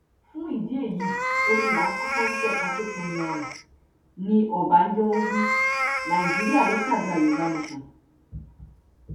fún ìdí èyí omi la kọkọ ń tẹ ká tóó tẹ yanrìn ní ọbànjọ wí nàìjíríà lọ ságbà yorùbá nation